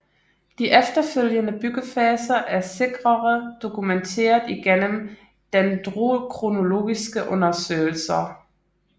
De efterfølgende byggefaser er sikrere dokumenteret igennem Dendrokronologiske undersøgelser